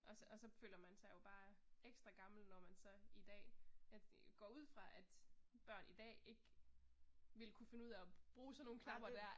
Og og så føler man sig jo bare ekstra gammel når man så i dag går ud fra at børn i dag ikke ville kunne finde ud af og bruge sådan nogle knapper der